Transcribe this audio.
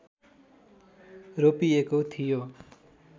रोपिएको थियो